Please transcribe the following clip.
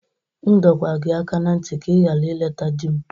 M dọọkwa gị aka ná ntị ka ị ghara ileta di m!